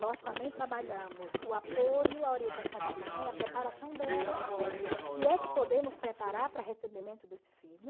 Nós também trabalhamos o apoio, a orientação da mãe, a preparação dela, se é que podemos preparar para recebimento desse filho.